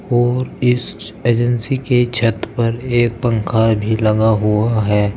और इस एजेंसी के छत पर एक पंखा भी लगा हुआ है।